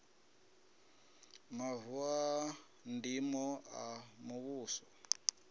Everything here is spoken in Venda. mavu a ndimo a muvhuso